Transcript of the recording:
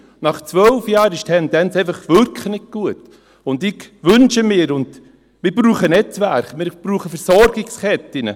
Nach zwölf Jahren ist die Tendenz einfach wirklich nicht gut, und ich wünsche mir, dass wir Netzwerke brauchen, dass wir Versorgungsketten brauchen.